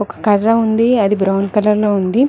ఒక కర్ర ఉంది అది బ్రౌన్ కలర్ లో ఉంది.